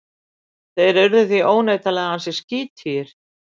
Þeir urðu því óneitanlega ansi skítugir.